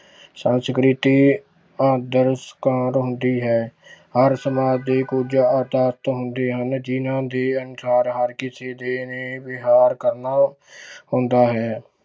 ਸੰਸਕ੍ਰਿਤੀ ਆਦਰ ਹੁੰਦੀ ਹੈ ਹਰ ਸਮਾਜ ਦੇ ਕੁੱਝ ਹੁੰਦੇ ਹਨ ਜਿਹਨਾਂ ਦੇ ਅਨੁਸਾਰ ਹਰ ਕਿਸੇ ਦੇ ਨੇ ਵਿਹਾਰ ਕਰਨਾ ਹੁੰਦਾ ਹੈ।